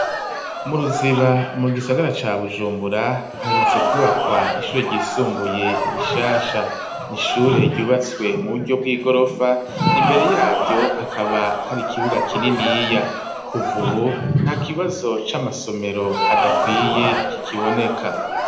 Mu ruziba mu gisagara ca bujumbura herutse kubakwa ishure ryisumbuye rishasha n'ishure ryubatswe mu buryo bw'igorofa imbere yaryo akaba hari kibuga kininiya kuva ubu nta kibazo c'amasomero adakwiye kikiboneka.